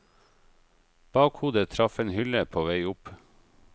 Bakhodet traff en hylle på vei opp.